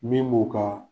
Min b'u ka